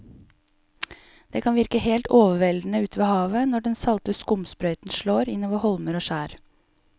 Det kan virke helt overveldende ute ved havet når den salte skumsprøyten slår innover holmer og skjær.